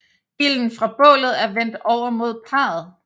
Ilden fra bålet er vendt over mod parret